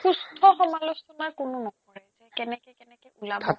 সুস্থ সমালোচনা কোনো নকৰে যে কেনেকে কেনেকে ওলাব